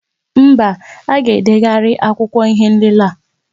Mba, a ga-edegharị akwụkwọ ihé nlélé a